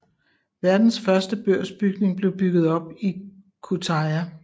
Verdens første børsbygning blev bygget op i Kütahya